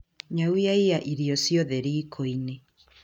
Nyau yaiya irio ciothe riko-inĩ